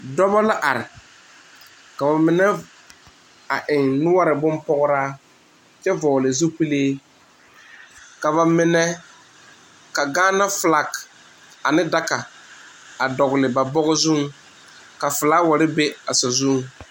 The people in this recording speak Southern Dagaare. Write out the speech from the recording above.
Dɔɔbo la are ka ba mine eŋ noɔre bonpɔgraa kyɛ vɔgle zupele ka ba mine ka Gaana filaak a ne daga a dogle ba bɔge zuŋ ka filaaware be a sazuŋ.